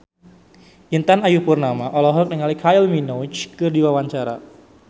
Intan Ayu Purnama olohok ningali Kylie Minogue keur diwawancara